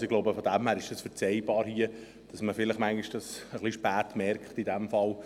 Daher ist es hier zu verzeihen, dass diese Anträge etwas spät gestellt worden sind.